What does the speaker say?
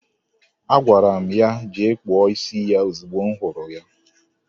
Agwara m ya jee kpụọ isi ya ozigbo m hụrụ ya.